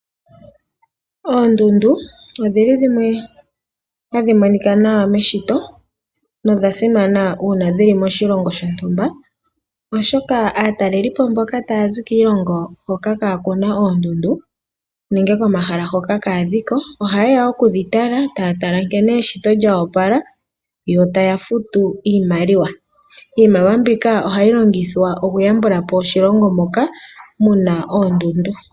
Oondundu odhili dhimwe ohadhi monika nawa meshito nodha simana uuna dhi li moshilongo shontumba, oshoka aataleli po mboka taya zi kiilonga hoka kaa kuna oondundu nenge komahala hoka kaadhiko ohaye ya okudhi tala, taya tala nkene eshito lyoopala yo taya futu iimaliwa. Iimaliwa mbika ohayi longithwa oku yambula po oshilongo moka muna oondundu.